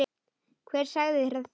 Hver sagði þér það?